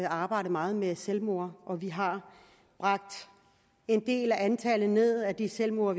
arbejdet meget med selvmord i og vi har bragt antallet af de selvmord